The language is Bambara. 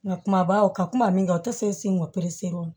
Nka kumabaw ka kuma min ka o tɛ se o